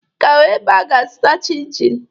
Ị ga-ahụ ebe ị ga-azụta chịn chịn